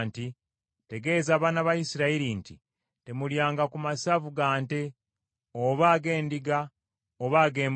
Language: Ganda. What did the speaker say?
“Tegeeza abaana ba Isirayiri nti, ‘Temulyanga ku masavu ga nte, oba ag’endiga, oba ag’embuzi.